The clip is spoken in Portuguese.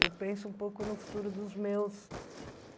Eu penso um pouco no futuro dos meus